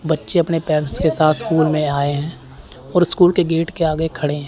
बच्चे अपने आप पेरेंट्स के साथ स्कूल में आए हैं और स्कूल के गेट के आगे खड़े हैं।